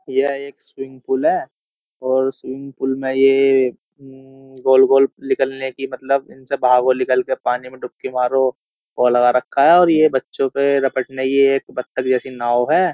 यह एक swimming pool है और स्विमिंग पूल में ये म्मम्म गोल-गोल निकलने की मतलब इनसे भागो निकल के पानी में डुबकी मारो वो लगा रखा है और ये बच्चो के बत्तख जैसी नाव है।